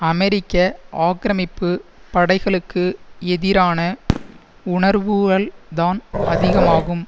அமெரிக்க ஆக்கிரமிப்பு படைகளுக்கு எதிரான உணர்வுகள்தான் அதிகமாகும்